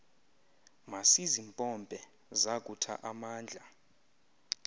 masizimpompe zakutha amandla